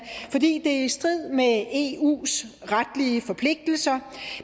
fordi det er i strid med eus retlige forpligtelser